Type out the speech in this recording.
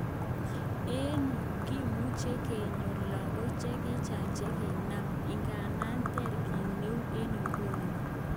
Eng yu kimuche kenyor lagok chechang chekinam, ingandan ter kitneu en iguno.